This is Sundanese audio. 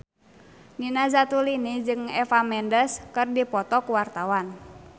Nina Zatulini jeung Eva Mendes keur dipoto ku wartawan